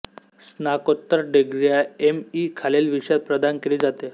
स्नाकोत्तर डिग्रियॉं M E खालील विषयात प्रदान केली जाते